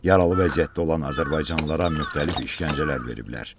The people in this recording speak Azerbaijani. Yaralı vəziyyətdə olan azərbaycanlılara müxtəlif işgəncələr veriblər.